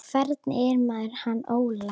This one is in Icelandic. Hvernig er með hann Óla?